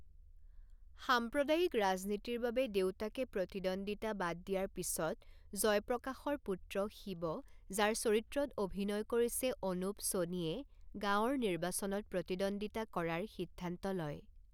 সাম্প্ৰদায়িক ৰাজনীতিৰ বাবে দেউতাকে প্ৰতিদ্বন্দিতা বাদ দিয়াৰ পিছত জয়প্ৰকাশৰ পুত্ৰ শিৱ যাৰ চৰিত্ৰত অভিনয় কৰিছে অনুপ সোণীয়ে গাঁৱৰ নিৰ্বাচনত প্ৰতিদ্বন্দিতা কৰাৰ সিদ্ধান্ত লয়।